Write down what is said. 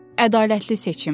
Ədalətli seçim.